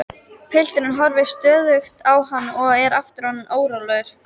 Pilturinn horfir stöðugt á hann og er aftur orðinn órólegur.